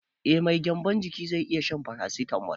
Eh mai gyanbon ciki zai iya shan farasitamol